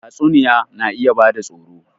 Tatsuniya na iya bada tsoro